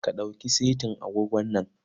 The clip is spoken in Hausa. Ka ɗauki setin agogon nan.